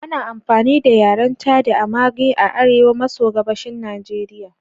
Ana amfani da yaren Chadi na Marghi a arewa maso gabashin Najeriya.